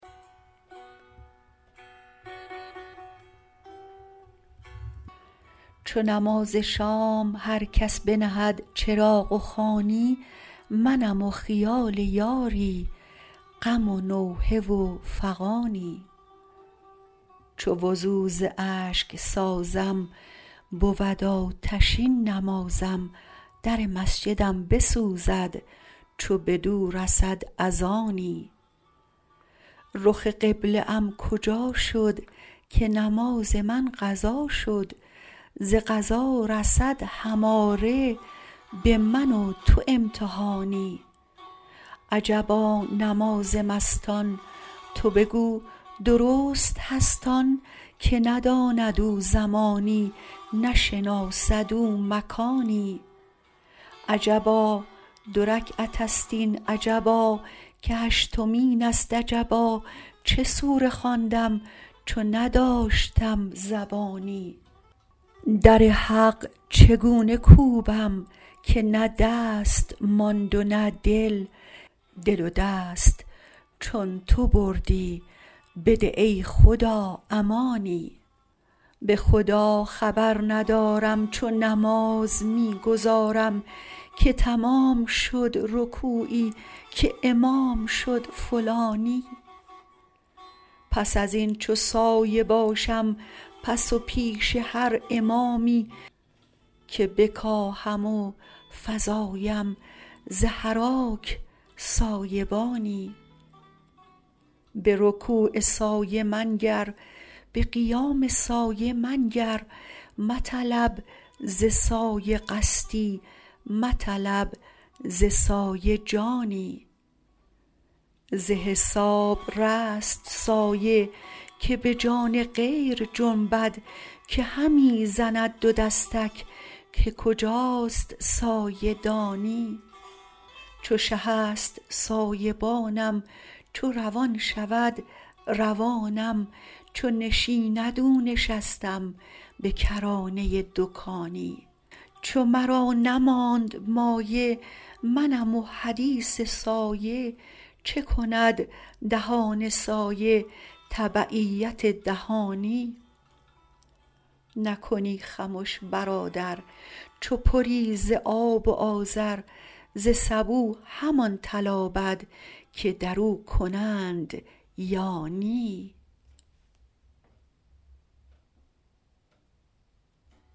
چو نماز شام هر کس بنهد چراغ و خوانی منم و خیال یاری غم و نوحه و فغانی چو وضو ز اشک سازم بود آتشین نمازم در مسجدم بسوزد چو بدو رسد اذانی رخ قبله ام کجا شد که نماز من قضا شد ز قضا رسد هماره به من و تو امتحانی عجبا نماز مستان تو بگو درست هست آن که نداند او زمانی نشناسد او مکانی عجبا دو رکعت است این عجبا که هشتمین است عجبا چه سوره خواندم چو نداشتم زبانی در حق چگونه کوبم که نه دست ماند و نه دل دل و دست چون تو بردی بده ای خدا امانی به خدا خبر ندارم چو نماز می گزارم که تمام شد رکوعی که امام شد فلانی پس از این چو سایه باشم پس و پیش هر امامی که بکاهم و فزایم ز حراک سایه بانی به رکوع سایه منگر به قیام سایه منگر مطلب ز سایه قصدی مطلب ز سایه جانی ز حساب رست سایه که به جان غیر جنبد که همی زند دو دستک که کجاست سایه دانی چو شه است سایه بانم چو روان شود روانم چو نشیند او نشستم به کرانه دکانی چو مرا نماند مایه منم و حدیث سایه چه کند دهان سایه تبعیت دهانی نکنی خمش برادر چو پری ز آب و آذر ز سبو همان تلابد که در او کنند یا نی